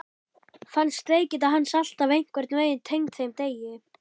Fannst veikindi hans alltaf einhvern veginn tengd þeim degi.